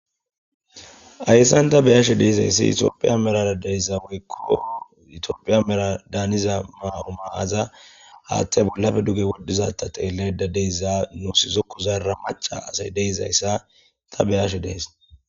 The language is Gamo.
Ayssan ta beyaashe deezayssi itophiya merara deyza woykko itiophiya mera daaniza maa7o maaza haattey bollafe duge woddizata teelley dadeyza nu sizo ku zara maca asay deyzayssa ta beyashe dees.